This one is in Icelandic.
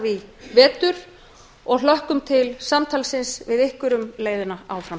í vetur og hlökkum til samtalsins við ykkur um leiðina áfram